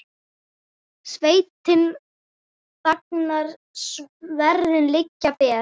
Sveitin þagnar, sverðin liggja ber.